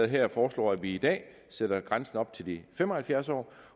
her foreslår at vi i dag sætter grænsen op til de fem og halvfjerds år